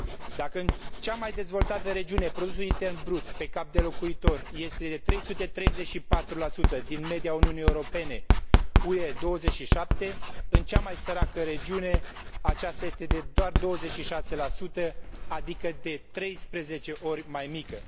Dacă în cea mai dezvoltată regiune produsul intern brut pe cap de locuitor este de 334 din media Uniunii Europene UE 27, în cea mai săracă regiune acesta este de doar 26 adică de treisprezece ori mai mică.